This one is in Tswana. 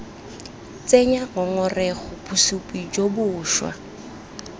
tsenya ngongorego bosupi jo bošwa